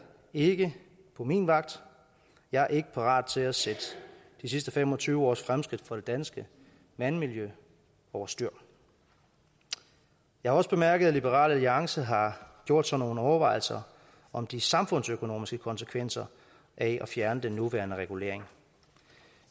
ikke på min vagt jeg er ikke parat til at sætte de sidste fem og tyve års fremskridt for det danske vandmiljø over styr jeg har også bemærket at liberal alliance har gjort sig nogle overvejelser om de samfundsøkonomiske konsekvenser af at fjerne den nuværende regulering